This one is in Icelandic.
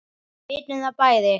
Við vitum það bæði.